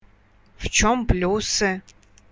в чем плюсы